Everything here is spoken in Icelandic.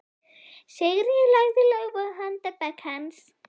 Sigríður lagði lófa á handarbak hans.